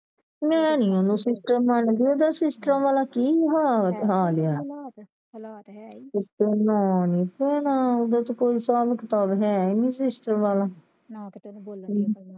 ਮੈਂ ਨਹੀਂ ਓਹਨੂੰ sister ਮੰਨਦੀ ਓਹਦਾ sister ਵਾਲਾ ਕੀ ਹਾਲ ਆ ਹੈ ਈ ਨਹੀਂ sister ਵਾਲਾ